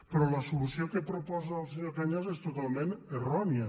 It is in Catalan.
però la solució que proposa el senyor cañas és totalment errònia